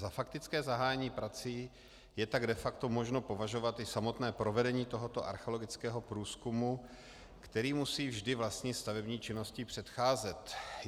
Za faktické zahájení prací je tak de facto možno opovažovat i samotné provedení tohoto archeologického průzkumu, který musí vždy vlastní stavební činnosti předcházet.